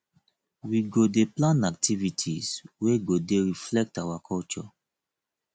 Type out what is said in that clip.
we go dey plan activities wey go dey reflect our culture